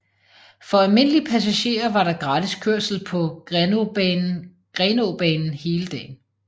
For almindelige passagerer var der gratis kørsel på Grenaabanen hele dagen